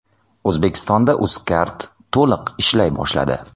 O‘zbekistonda Uzcard to‘liq ishlay boshladi.